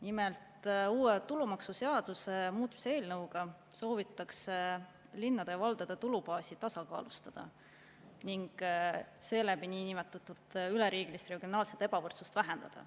Nimelt, uue tulumaksuseaduse muutmise seaduse eelnõuga soovitakse linnade ja valdade tulubaasi tasakaalustada ning seeläbi niinimetatud üleriigilist regionaalset ebavõrdsust vähendada.